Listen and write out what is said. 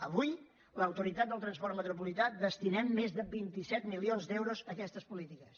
avui l’autoritat del transport metropolità destinem més de vint set milions d’euros a aquestes polítiques